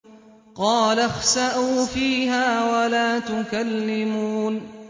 قَالَ اخْسَئُوا فِيهَا وَلَا تُكَلِّمُونِ